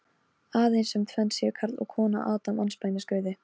Þú komst auðvitað hingað til að kaupa af mér mynd.